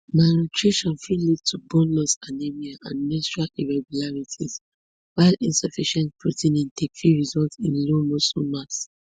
malnutrition fit lead to bone loss anemia and menstrual irregularities while insufficient protein intake fit result in low muscle mass